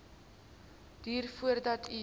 duur voordat u